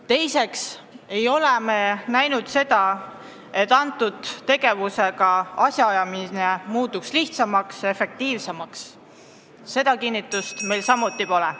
Teiseks ei ole me näinud seda, et selle tegevuse tulemusel asjaajamine muutub lihtsamaks ja efektiivsemaks – seda kinnitust meil samuti pole.